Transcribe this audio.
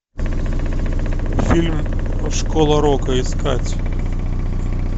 фильм школа рока искать